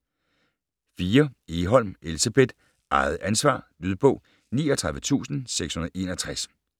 4. Egholm, Elsebeth: Eget ansvar Lydbog 39661